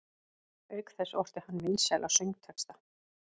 Auk þess orti hann vinsæla söngtexta.